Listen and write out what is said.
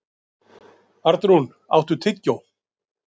Arnrún, áttu tyggjó?